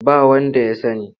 Ba wanda ya sani.